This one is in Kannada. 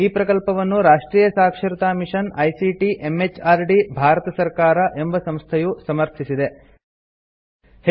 ಈ ಪ್ರಕಲ್ಪವನ್ನು ರಾಷ್ಟ್ರಿಯ ಸಾಕ್ಷರತಾ ಮಿಷನ್ ಐಸಿಟಿ ಎಂಎಚಆರ್ಡಿ ಭಾರತ ಸರ್ಕಾರ ಎಂಬ ಸಂಸ್ಥೆಯು ಸಮರ್ಥಿಸಿದೆ